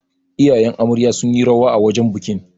iyayen Amarya sun yi rawa a wajen bikin